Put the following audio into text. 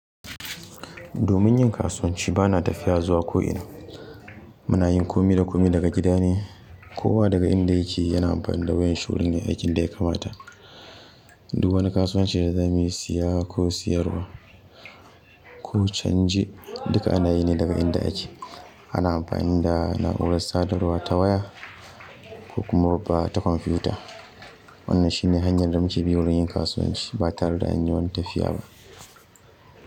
Domin yin kasuwanci, ba na tafiya zuwa ko'ina. Muna yin kome da kome daga gida ne, kowa daga inda yake yana amfani da wayan shi wurin yayi, aikin da ya kamata. Duk wani kasuwanci da za mu yi, siya ko siyarwa ko canji, duka ana yi ne daga inda ake. Ana amfani da na'urar sadarwa ta waya ko kuma babba ta kwamfiyuta. Wannan shi ne hanyar da muke biyo wurin yin kasuwanci ba tare da an yi wani tafiya ba.